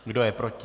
Kdo je proti?